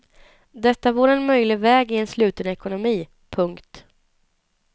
Detta vore en möjlig väg i en sluten ekonomi. punkt